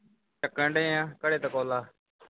ਚੁੱਕਣ ਡਏ ਹਾਂ ਹੁਣੇ ਤੇ call ਆਂ